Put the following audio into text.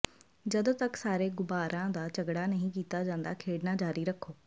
ਜਦੋਂ ਤੱਕ ਸਾਰੇ ਗੁਬਾਰਾਆਂ ਦਾ ਝਗੜਾ ਨਹੀਂ ਕੀਤਾ ਜਾਂਦਾ ਖੇਡਣਾ ਜਾਰੀ ਰੱਖੋ